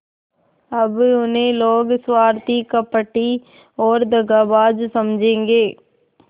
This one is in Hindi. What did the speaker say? अब उन्हें लोग स्वार्थी कपटी और दगाबाज समझेंगे